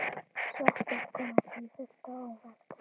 Sveppir koma sífellt á óvart!